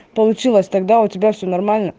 получилось тогда у тебя все нормально